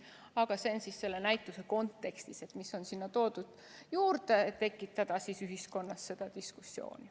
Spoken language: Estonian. Aga see on selle näituse kontekstis, mis on sinna juurde toodud, et tekitada ühiskonnas seda diskussiooni.